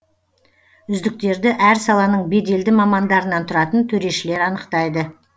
үздіктерді әр саланың беделді мамандарынан тұратын төрешілер анықтайды